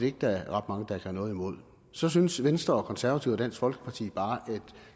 ikke der er ret mange der kan have noget imod så synes venstre og konservative og dansk folkeparti bare at